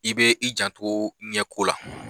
I bɛ i janto ɲɛko la